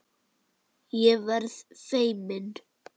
Ég verð feimin.